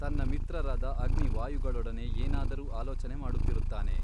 ತನ್ನ ಮಿತ್ರರಾದ ಅಗ್ನಿವಾಯುಗಳೊಡನೆ ಏನಾದರೂ ಆಲೋಚನೆ ಮಾಡುತ್ತಿರುತ್ತಾನೆ.